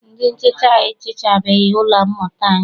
Ndị nhicha ehichabeghị ụlọ mmụta anyi.